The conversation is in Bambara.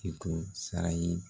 K'i to sara ye